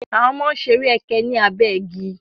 Àwọn ọmọ ń ṣeré ẹkẹ ní abé igi.